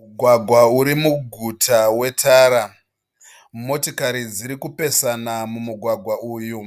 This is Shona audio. Mugwagwa uri muguta wetara. Motikari dziri kupesana mumugwagwa uyu.